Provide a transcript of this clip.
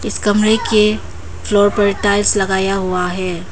इस कमरे के पर टाइल्स लगाया हुआ है।